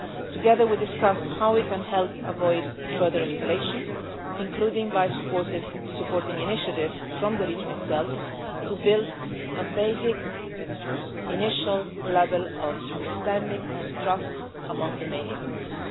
Together we discussed how we can help avoid further escalation, including by supporting initiatives from the region itself to build a basic initial level of understanding and trust among the main actors.